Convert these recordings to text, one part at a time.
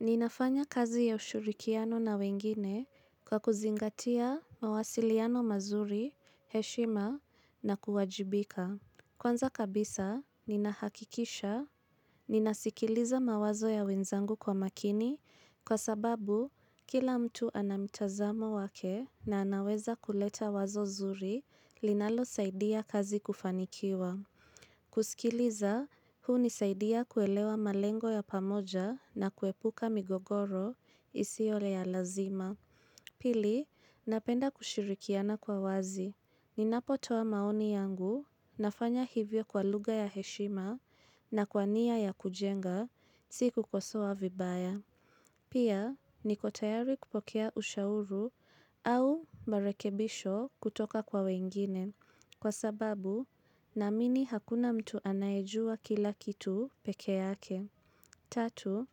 Ninafanya kazi ya ushurikiano na wengine kwa kuzingatia mawasiliano mazuri, heshima na kuwajibika. Kwanza kabisa, ninahakikisha. Ninasikiliza mawazo ya wenzangu kwa makini kwa sababu kila mtu ana mtazamo wake na anaweza kuleta wazo zuri linalo saidia kazi kufanikiwa. Kusikiliza, huu unisaidia kuelewa malengo ya pamoja na kuepuka migogoro isio ya lazima Pili, napenda kushirikiana kwa wazi Ninapotoa maoni yangu, nafanya hivyo kwa luga ya heshima na kwa nia ya kujenga, si kukosowa vibaya Pia, niko tayari kupokea ushauru au marekebisho kutoka kwa wengine Kwa sababu naamini hakuna mtu anayejua kila kitu peke yake. Tatu,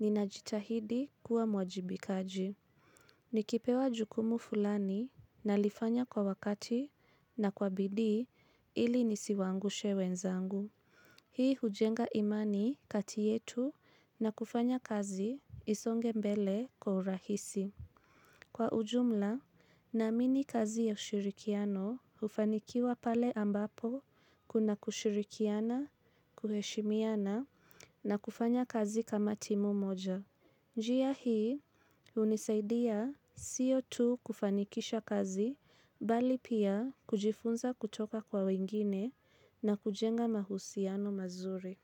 ninajitahidi kuwa mwajibikaji. Nikipewa jukumu fulani na lifanya kwa wakati na kwa bidii ili nisiwaangushe wenzangu. Hii hujenga imani kati yetu na kufanya kazi isonge mbele kwa urahisi. Kwa ujumla naamini kazi ya ushirikiano ufanikiwa pale ambapo kuna kushirikiana, kuheshimiana na kufanya kazi kama timu moja. Njia hii unisaidia sio tu kufanikisha kazi bali pia kujifunza kutoka kwa wengine na kujenga mahusiano mazuri.